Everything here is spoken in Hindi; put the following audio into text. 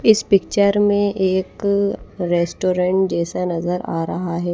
इस पिक्चर में एक रेस्टोरेंट जैसा नजर आ रहा है।